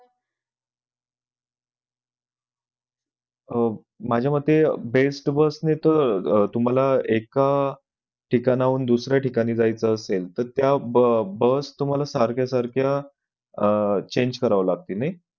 माझ्या मते best bus ने तर तुम्हाला एका ठिकाणावरून दुसऱ्या ठिकाणि जायचं असेल तर त्या bus तुम्हाला सारख्या सारख्या अह change करावं लागतील नाही.